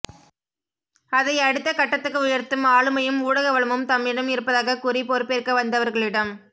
அதை அடுத்த கட்டத்துக்கு உயர்த்தும் ஆளுமையும் ஊடக வளமும் தம்மிடம் இருப்பதாகக் கூறிப் பொறுப்பேற்க வந்தவர்களிடம்